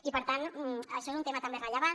i per tant això és un tema també rellevant